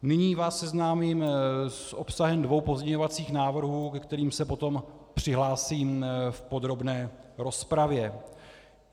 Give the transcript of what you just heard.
Nyní vás seznámím s obsahem dvou pozměňovacích návrhů, ke kterým se potom přihlásím v podrobné rozpravě.